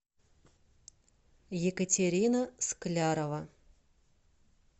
екатерина склярова